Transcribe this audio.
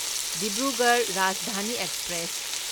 Dibrugarh Rajdhani express